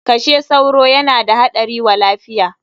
Kashe sauro yana da haɗari wa lafiya!